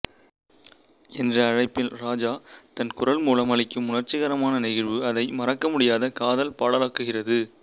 என்ற அழைப்பில் ராஜா தன் குரல்மூலம் அளிக்கும் உணர்ச்சிகரமான நெகிழ்வு அதை மறக்கமுடியாத காதல்பாடலா க்குகிறது